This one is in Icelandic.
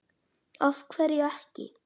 af hverju ekki?